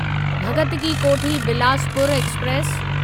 Bhagat ki Kothi Bilaspur express